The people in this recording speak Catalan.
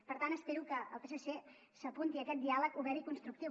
per tant espero que el psc s’apunti a aquest diàleg obert i constructiu